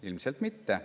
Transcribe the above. Ilmselt mitte.